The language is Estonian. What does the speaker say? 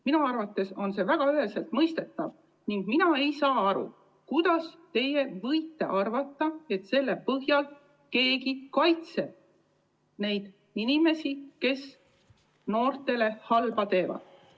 Minu arvates on see väga üheselt mõistetav ning mina ei saa aru, kuidas teie saate selle põhjal arvata, et keegi kaitseb neid inimesi, kes noortele halba teevad.